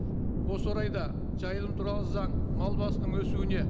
осы орайда жайылым туралы заң мал басының өсуіне